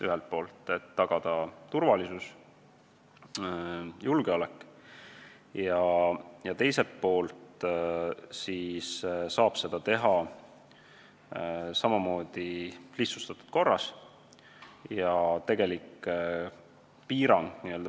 Ühelt poolt tuleb tagada turvalisus ja julgeolek ning teiselt poolt saab seda siis lihtsustatud korras teha.